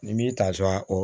Ni m'i ta sɔn